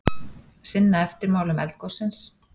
Sinna eftirmálum eldgossins